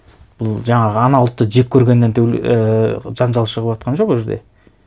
бұл жаңағы ана ұлтты жек көргеннен ііі жанжал шығыватқан жоқ ол жерде